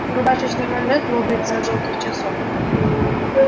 рубашечный манжет лопается от жёлтых часов